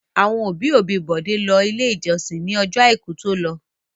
Àwọn òbí-òbí Bọ̀dé lọ Ilé-ìjọsìn ní ọjọ́ àìkú tó lọ.